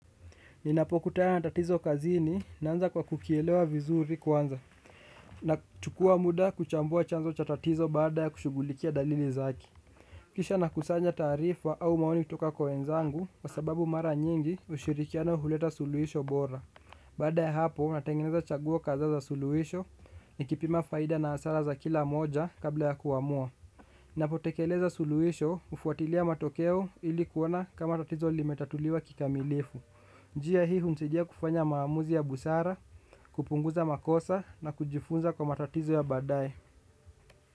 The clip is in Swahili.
Ninapokutana na tatizo kazini, naanza kwa kukielewa vizuri kwanza. Nachukua muda kuchambua chanzo cha tatizo baada ya kushugulikia dalili zake. Kisha nakusanya taarifa au maoni kutoka kwa wenzangu kwa sababu mara nyingi ushirikiano huleta suluhisho bora. Baada ya hapo, natengeneza chaguo kadhaa za suluhisho nikipima faida na hasara za kila moja kabla ya kuamua. Ninapotekeleza suluhisho, hufuatilia matokeo ili kuona kama tatizo limetatuliwa kikamilifu. Njia hii hunichajia kufanya maamuzi ya busara, kupunguza makosa na kujifunza kwa matatizo ya baadaye.